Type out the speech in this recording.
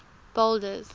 boulders